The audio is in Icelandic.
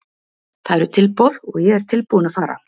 Það eru tilboð og ég er tilbúinn að fara.